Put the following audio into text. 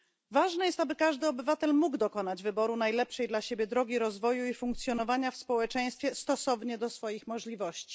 Ważne jest, aby każdy obywatel mógł dokonać wyboru najlepszej dla siebie drogi rozwoju i funkcjonowania w społeczeństwie stosownie do swoich możliwości.